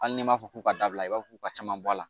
Hali n'i m'a fɔ k'u ka dabila i b'a fɔ ka caman bɔ a la